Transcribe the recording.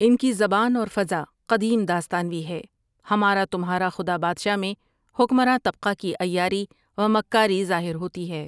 ان کی زبان اور فضا قدیم داستانوی ہے ہمارا تمہارا خدا بادشاہ میں حکمراں طبقہ کی عیاری و مکاری ظاہر ہوتی ہے ۔